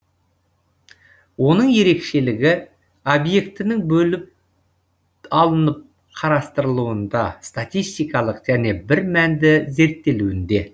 оның ерекшелігі объектінің бөліп алынып қарастырылуында статистикалық және бір мәнді зерттелуінде